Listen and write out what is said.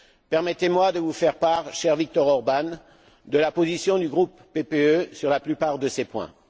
Permettez moi de vous faire part, cher Viktor Orbán, de la position du groupe PPE sur la plupart de ces points.